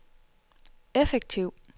effektiv